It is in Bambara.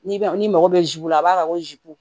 N'i ma n'i mago bɛ zuw la a b'a fɔ ko